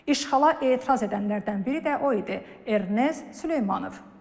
İşğala etiraz edənlərdən biri də o idi: Ernest Süleymanov.